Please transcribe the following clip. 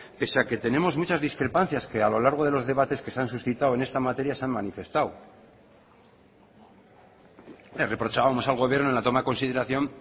pese a que tenemos muchas discrepancias que a lo largo de los debates que se han suscitado en esta materia se han manifestado le reprochábamos al gobierno en la toma de consideración